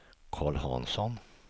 Karl Hansson